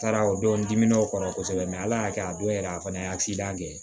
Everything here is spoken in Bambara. Taara o don n dimin o kɔrɔ kosɛbɛ ala y'a kɛ a don yɛrɛ a fana ye kɛ